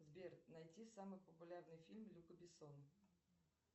сбер найти самый популярный фильм люка бессона